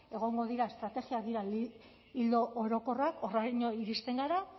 egongo dira estrategia ildo orokorrak horraino iristen gara